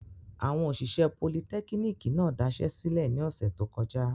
Awọn oṣiṣẹ politẹkiniki náa daṣẹlẹ ni ọsẹ to kọja.